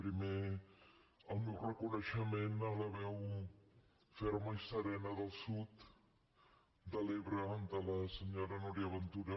primer el meu reconeixement a la veu ferma i serena del sud de l’ebre de la senyora núria ventura